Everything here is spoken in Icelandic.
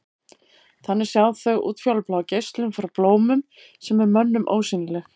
Þannig sjá þau útfjólubláa geislun frá blómum sem er mönnum ósýnileg.